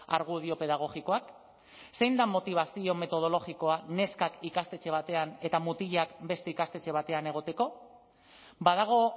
argudio pedagogikoak zein da motibazio metodologikoa neskak ikastetxe batean eta mutilak beste ikastetxe batean egoteko badago